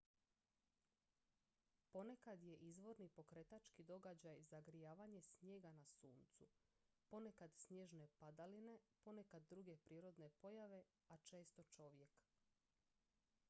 ponekad je izvorni pokretački događaj zagrijavanje snijega na suncu ponekad snježne padaline ponekad druge prirodne pojave a često čovjek